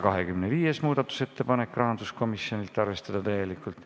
25. muudatusettepanek, rahanduskomisjonilt, arvestada täielikult.